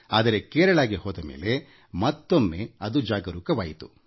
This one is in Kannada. ಆದರೆ ಕೇರಳಾಕ್ಕೆ ಹೋದಮೇಲೆ ಮತ್ತೊಮ್ಮೆ ಅದು ಜಾಗೃತವಾಯಿತು